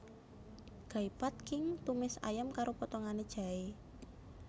Gai Pad Khing tumis ayam karo potongan jahé